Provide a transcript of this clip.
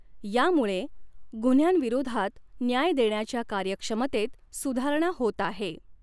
यामुळे गुन्ह््यांविरोधात न्याय देण्याच्या कार्यक्षमतेत सुधारणा होत आहे.